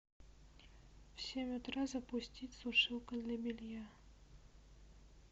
в семь утра запустить сушилка для белья